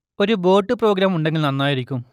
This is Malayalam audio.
ഒരു ബോട്ട് പ്രോഗ്രാം ഉണ്ടെങ്കിൽ നന്നായിരിക്കും